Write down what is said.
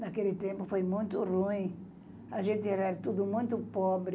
Naquele tempo foi muito ruim, a gente era tudo muito pobre,